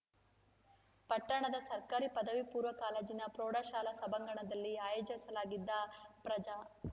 ಪಟ್ಟಣದ ಸರ್ಕಾರಿ ಪಪೂ ಕಾಲೇಜಿನ ಪ್ರೌಢಶಾಲಾ ಸಭಾಂಗಣದಲ್ಲಿ ಆಯೋಜಿಸಲಾಗಿದ್ದ ಪ್ರಜಾ